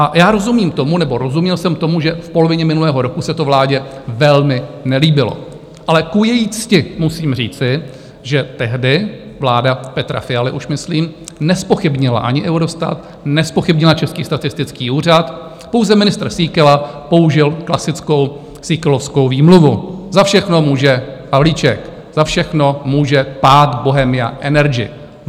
A já rozumím tomu nebo rozuměl jsem tomu, že v polovině minulého roku se to vládě velmi nelíbilo, ale ku její cti musím říci, že tehdy vláda Petra Fialy už myslím nezpochybnila ani Eurostat, nezpochybnila Český statistický úřad, pouze ministr Síkela použil klasickou síkelovskou výmluvu: za všechno může Havlíček, za všechno může pád Bohemia Energy.